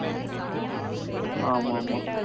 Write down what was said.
ஆஹ் ஆமாமா